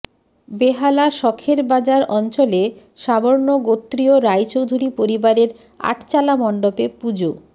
বেহালা সখের বাজার অঞ্চলে সাবর্ণ গোত্রীয় রায়চৌধুরী পরিবারের আটচালা মণ্ডপে পুজো